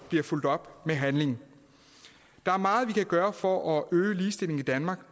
bliver fulgt op af handling der er meget vi kan gøre for at øge ligestillingen i danmark